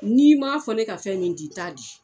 N'i m'a fɔ ne ka fɛn min di n t'a di.